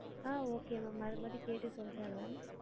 ஆஹ் okay ma'am மறுபடியு கேட்டு சொல்றேன் ma'am